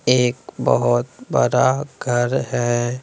एक बहुत बरा घर है।